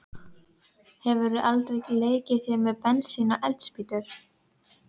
Hefurðu aldrei leikið þér með bensín og eldspýtur?